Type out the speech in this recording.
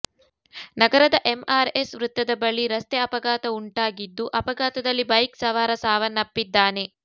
ನಗರದ MR S ವೃತ್ತದ ಬಳಿ ರಸ್ತೆ ಅಪಘಾತವುಂಟಾಗಿದ್ದು ಅಪಘಾತದಲ್ಲಿ ಬೈಕ್ ಸವಾರ ಸಾವನ್ನಪ್ಪಿದ್ದಾನೆ